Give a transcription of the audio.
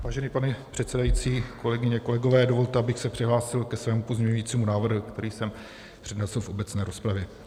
Vážený pane předsedající, kolegyně, kolegové, dovolte, abych se přihlásil ke svému pozměňujícímu návrhu, který jsem přednesl v obecné rozpravě.